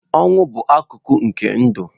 Ọnwụ bụ akụkụ nke ndụ.